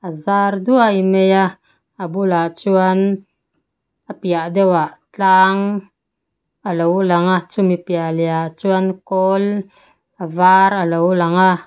zar duai mai a a bulah chuan a piah deuh ah tlang alo lang a chumi piah leh ah chuan kawl a var alo lang a.